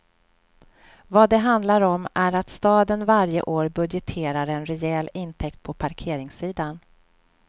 Vad det handlar om är att staden varje år budgeterar en rejäl intäkt på parkeringssidan.